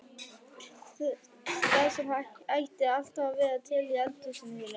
Það sem ætti alltaf að vera til í eldhúsinu þínu!